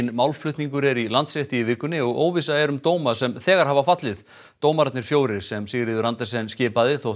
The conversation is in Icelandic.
málflutningur er í Landsrétti í vikunni og óvissa er um dóma sem þegar hafa fallið dómararnir fjórir sem Sigríður Andersen skipaði þótt